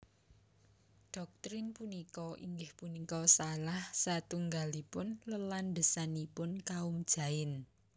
Doktrin punika inggih punika salah satunggalipun lelandhesanipun kaum Jain